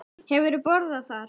Hefurðu borðað þar?